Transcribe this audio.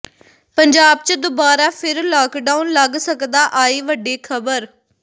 ਪੰਜਾਬ ਚ ਦੁਬਾਰਾ ਫਿਰ ਲਾਕਡੌਨ ਲੱਗ ਸਕਦਾ ਆਈ ਵੱਡੀ ਖਬਰ